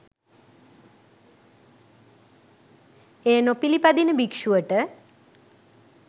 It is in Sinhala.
එය නොපිළිපදින භික්ෂුවට